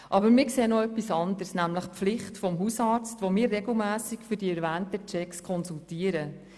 Aber wir sehen noch etwas Anderes, nämlich die Pflicht des Hausarztes, den wir regelmässig für die erwähnten Checks konsultieren.